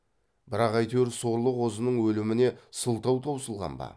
бірақ әйтеуір сорлы қозының өліміне сылтау таусылған ба